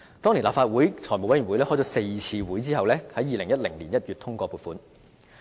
當年立法會財委會開了4次會議後，在2010年1月通過撥款。